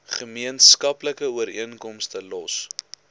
gemeenskaplike ooreenkomste los